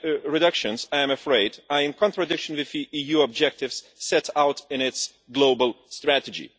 reductions, I am afraid, are in contradiction with the EU objectives set out in its global strategy.